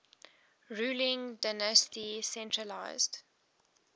ruling dynasty centralised